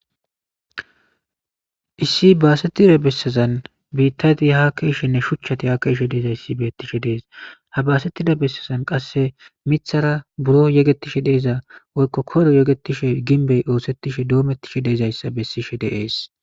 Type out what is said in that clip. Issi baasettida bessazan biittati hakeeshshenne shuchchati hakeeshshe deeza issi beettishe dees habaasettida bessazan qasse mithara buro yegetishe deeza woykko koro yegetishe ginbey oosettishe doomettishe deezayssa bessishe deees.